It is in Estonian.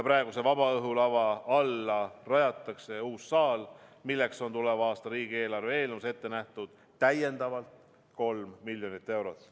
Praeguse vabaõhulava alla rajatakse nüüd uus saal, milleks on tuleva aasta riigieelarve eelnõus ette nähtud täiendavalt 3 miljonit eurot.